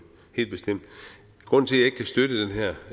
helt bestemt grunden til